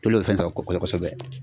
olu de bɛ fɛn sɔrɔ kɔsɛbɛ.